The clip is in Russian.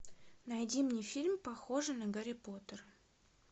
найди мне фильм похожий на гарри поттер